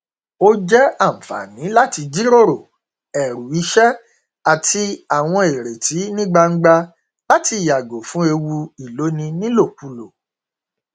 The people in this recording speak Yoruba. ó jẹ ànfààní láti jíròrò ẹrù iṣẹ àti àwọn ìrètí ní gbangba láti yàgò fún ewu ìloni nílòkulò